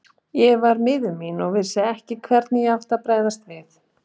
Ég var miður mín og vissi ekki hvernig ég átti að bregðast við.